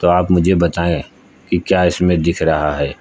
आप मुझे बताएं कि क्या इसमें दिख रहा है।